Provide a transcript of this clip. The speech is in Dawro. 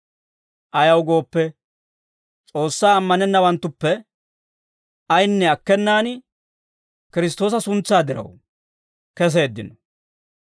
Ayaw gooppe, S'oossaa ammanennawanttuppe ayinne akkenaan, Kiristtoosa suntsaa diraw keseeddino.